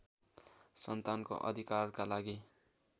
सन्तानको अधिकारका लागि